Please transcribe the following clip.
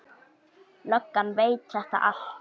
Löggan veit þetta allt.